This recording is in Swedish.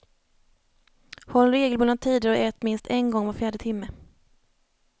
Håll regelbundna tider och ät minst en gång var fjärde timme.